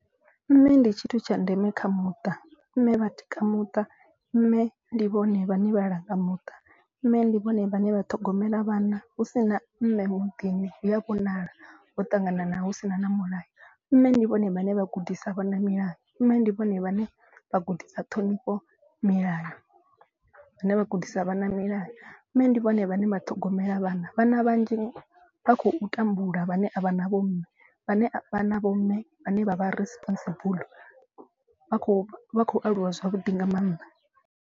Mme ndi tshithu tsha ndeme kha muṱa, mme vhatikedza muṱa, mme ndi vhone vhane vhalanga muṱa. Mme ndi vhone vhane vha ṱhogomela vhana hu si na mme muḓini hu a vhonala ho ṱanganana hu si na na mulayo. Mme ndi vhone vhane vha gudisa vhana milayo mme ndi vhone vhane vha gudisa ṱhonifho milayo vhane vha gudisa vhana milayo. Mme ndi vhone vhane vha ṱhogomela vhana vhana vhanzhi vha khou tambula vhane a vhana vho mme vhane na vho mme vhane vha vha responsible vha kho vha khou aluwa zwavhuḓi nga maanḓa.